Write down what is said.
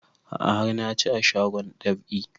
A'a har na ci a shagon dab'i